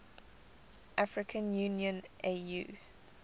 african union au